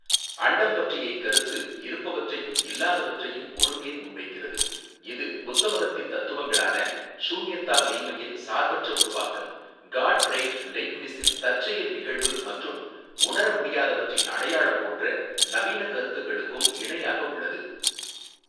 அண்டம் பற்றிய இக்கருத்து இருப்பவற்றையும் இல்லாதவற்றையும் ஒருங்கே முன்வைக்கிறது இது புத்த மதத்தின் தத்துவங்களான ஷூன்யத்தா மெய்ம்மையின் சார்பற்ற உருவாக்கம் காட் ப்ரைட் லெய்ப்னிஸின் தற்செயல் நிகழ்வு மற்றும் உணர முடியாதவற்றின் அடையாளம் போன்ற நவீனக் கருத்துக்களுக்கும் இணையாக உள்ளது.